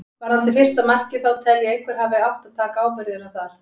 Varðandi fyrsta markið þá tel ég að einhver hafi átt að taka ábyrgðina þar.